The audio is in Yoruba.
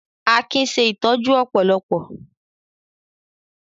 Akin ṣe ìtọ́jú ọ̀pọ̀lọpọ̀